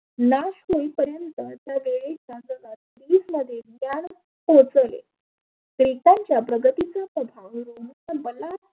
लाश होई पर्यंत त्या वेळी टोचन ग्रिकांच्या प्रगतीच बनला.